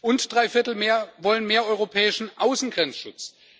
Und drei Viertel wollen mehr europäischen Außengrenzschutz.